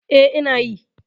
E, ina yi.